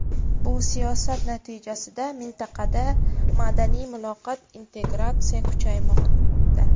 Bu siyosat natijasida mintaqada madaniy muloqot, integratsiya kuchaymoqda.